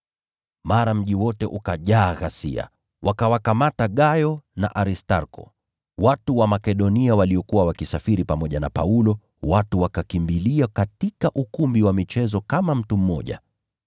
Mara mji wote ukajaa ghasia. Wakawakamata Gayo na Aristarko, watu wa Makedonia waliokuwa wakisafiri pamoja na Paulo, na watu wakakimbilia katika ukumbi wa michezo kama mtu mmoja.